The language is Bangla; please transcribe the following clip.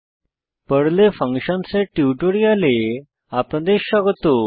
পার্ল পর্ল এ ফাংশনস ফাংশনস এর টিউটোরিয়ালে আপনাদের স্বাগত